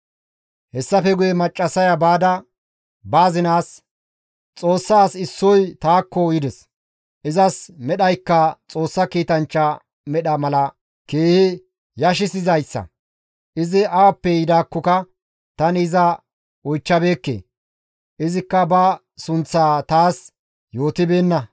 Hessafe guye maccassaya baada, ba azinaas, «Xoossa as issoy taakko yides; izas medhaykka Xoossa kiitanchcha medha mala keehi yashshizayssa. Izi awappe yidaakkoka tani iza oychchabeekke; izikka ba sunththaa taas yootibeenna.